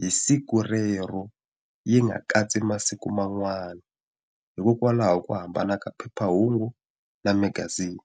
hi siku rero yi nga katsi masiku man'wana hikokwalaho ku hambana ka phephahungu na magazini.